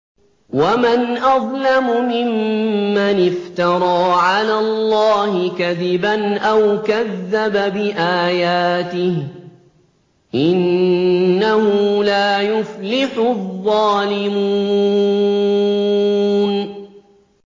وَمَنْ أَظْلَمُ مِمَّنِ افْتَرَىٰ عَلَى اللَّهِ كَذِبًا أَوْ كَذَّبَ بِآيَاتِهِ ۗ إِنَّهُ لَا يُفْلِحُ الظَّالِمُونَ